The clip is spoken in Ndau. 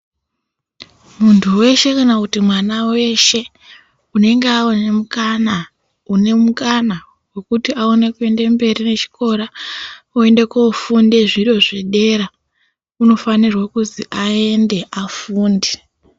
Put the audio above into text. Muntu weshe kana kuti mwana weshe, unenge awana mukana kana kuti une mukana wekuti aende mberi nechikora. Oenda koofunda zviro zvedera, unofanirwa kuzi aende afunde.